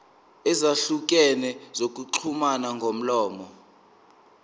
ezahlukene zokuxhumana ngomlomo